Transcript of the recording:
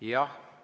Jah!